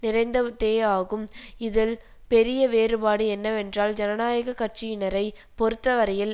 நிறைந்ததேயாகும் இதில் பெரிய வேறுபாடு என்னவென்றால் ஜனநாயக கட்சியனரை பொறுத்தவரையில்